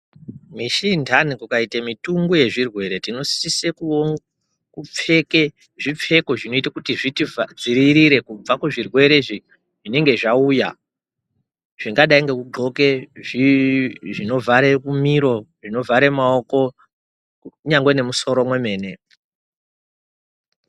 Mishi inhani kukuita mitungu yezvirwere tinosisa kupfeka zvipfeko zvinoita kuti zvitidziirire kubva kuzvirwere zvinonga zvauya. Zvingadai ngekuxoka zvinovhara miro, zvinovhara maoko kunyangwe nemusoro mwemene